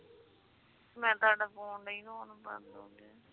ਮੈਂ ਤੁਹਾਡਾ phone ਨੀ